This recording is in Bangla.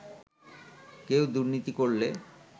কেউ দুর্নীতি করলে